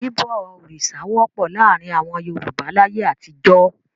Bíbọ òrìṣà wọ́pọ̀ láàárin àwọn Yorùbá láyé àtijọ́.